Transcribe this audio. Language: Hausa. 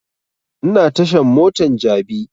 Ina tashan motan jabi